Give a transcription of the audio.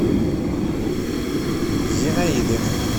зинаиды